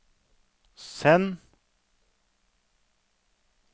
send